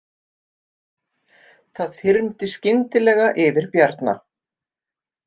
Það þyrmdi skyndilega yfir Bjarna.